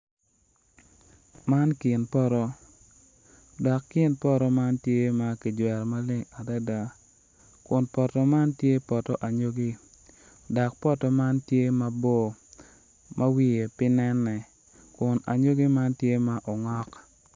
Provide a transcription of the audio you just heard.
Man kin poto dok kin poto man tye kijwero maleng adada kun poto man tye poto anyogi dok tye mabor adada ma wiye pe.